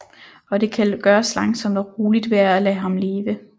Og det kan gøres langsomt og roligt ved at lade ham leve